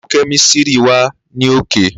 Laabu kemistri wa ni oke.